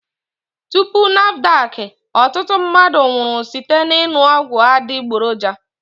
Tupu NAFDAC, ọtụtụ mmadụ nwụrụ site n'ịṅụ ọgwụ adịgboroja